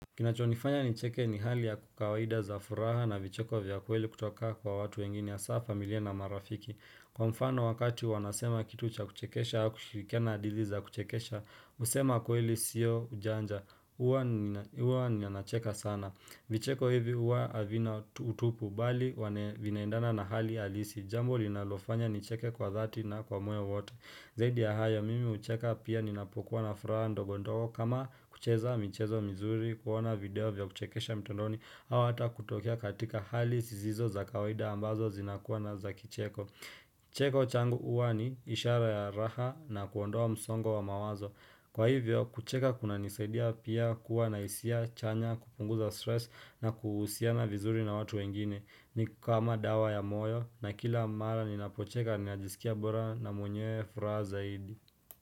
Kinachonifanya nicheke ni hali ya kawaida za furaha na vicheko vya ukweli kutoka kwa watu wengine hasa familia na marafiki. Kwa mfano wakati wanasema kitu cha kuchekesha au kushirikiana hadithi za kuchekesha, kusema ukweli sio ujanja. Huwa ninacheka sana. Vicheko hivi huwa havina utupu bali wana vinaandana na hali alisi. Jambo linalofanya nicheke kwa dhati na kwa moyo wote. Zaidi ya hayo, mimi hucheka pia ninapokuwa na furaha ndogondogo kama kucheza mchezo mizuri, kuona video vya kuchekesha mitondoni, ama hata kutokea katika hali zisizo za kawaida ambazo zinakuwa na za kicheko. Cheko changu huwa ni ishara ya raha na kuondoa msongo wa mawazo. Kwa hivyo, kucheka kuna nisaidia pia kuwa na hisia chanya kupunguza stress na kuhusiana vizuri na watu wengine ni kama dawa ya moyo na kila mara ninapocheka ninajisikia bora na mwenye furaha zaidi.